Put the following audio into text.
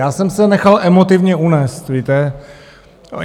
Já jsem se nechal emotivně unést, víte?